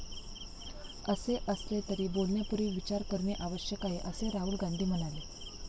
असे असले, तरी बोलण्यापूर्वी विचार करणे आवश्यक आहे, असे राहुल गांधी म्हणाले.